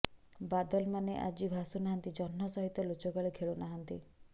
ବାଦଲମାନେ ଆଜି ଭାସୁନାହାନ୍ତି ଜହ୍ନ ସହିତ ଲୁଚକାଳି ଖେଳୁ ନାହାନ୍ତି